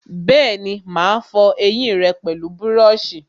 Bẹ́ẹ̀ni, mà á fọ ẹyìn rẹ pẹlú búrọ̀sì